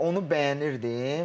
Onu bəyənirdim.